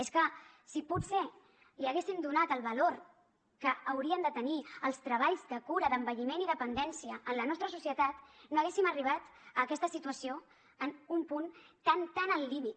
és que si potser haguessin donat el valor que haurien de tenir els treballs de cura d’envelliment i dependència en la nostra societat no haguéssim arribat a aquesta situació en un punt tan tan al límit